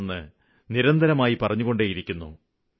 പല പ്രാവശ്യമായി ഇക്കാര്യങ്ങള് പറഞ്ഞുകൊണ്ടിരിക്കുന്നു